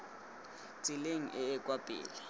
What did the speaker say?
tseleng e e kwa pele